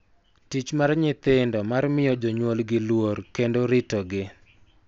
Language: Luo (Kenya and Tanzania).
Tich mar nyithindo mar miyo jonyuolgi luor kendo ritogi�